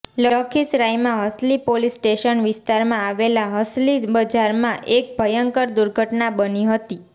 લખીસરાયમાં Halsi police station વિસ્તારમાં આવેલા હલસી બજારમાં એક ભયંકર દુર્ઘટના બની હતી